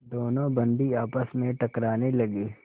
दोनों बंदी आपस में टकराने लगे